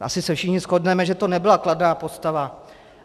Asi se všichni shodneme, že to nebyla kladná postava.